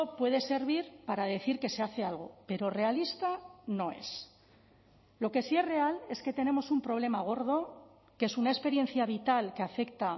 puede servir para decir que se hace algo pero realista no es lo que sí es real es que tenemos un problema gordo que es una experiencia vital que afecta